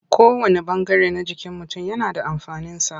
Kowanne ɓangare na jikin mutum yana da amfaninsa.